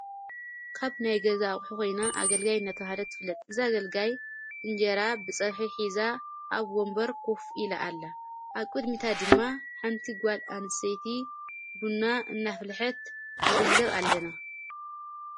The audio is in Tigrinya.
ካብ ናይ ገዛ ኣቝሒ ኾይና ኣገልጋይ እነተብሃለት ትፍለጥ እዝ ኣገልጋይ እንጀራ ብጸብሒ ሒዛ ኣብ ወምበር ኰፍ ኢለ ኣላ ኣብ ቊድሚታ ድማ ሓንቲ ጓል ኣንሴይቲ ቡና እናፍልሐት ንግንዘብ ኣለና።